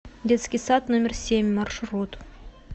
детский сад номер семь маршрут